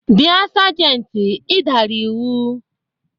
Bia sajenti, ị dara iwu!